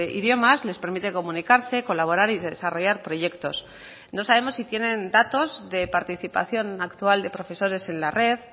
idiomas les permite comunicarse colaborar y desarrollar proyectos no sabemos si tienen datos de participación actual de profesores en la red